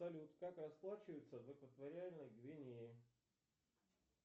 салют как расплачиваются в экваториальной гвинее